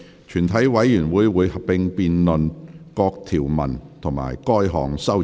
全體委員會會合併辯論各項條文及該項修正案。